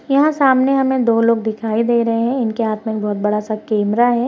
यहां सामने हमें दो लोग दिखाई दे रहे हैं इनके हाथ में एक बड़ा-सा कैमरा है।